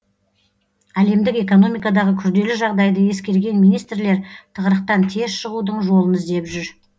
әлемдік экономикадағы күрделі жағдайды ескерген министрлер тығырықтан тез шығудың жолын іздеп жүр